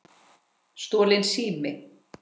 Stolinn sími